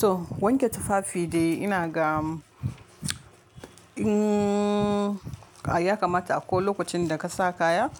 To wanke tufafi dai ina ga ya kamata a ko lokacin da ka sa kaya